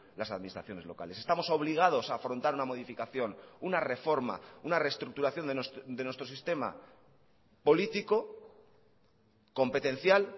las administraciones locales estamos obligados a afrontar una modificación una reforma una reestructuración de nuestro sistema político competencial